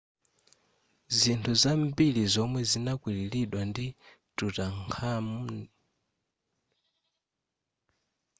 zinthu zambiri zomwe zinakwililidwa ndi tutankhamun zidasungidwa bwino zedi kuonjezerapo zinthu zikwizikwi zakale amagwilitsa ntchito zopangidwa ndi zitsulo za mtengo wapatali ndi miyala yosowa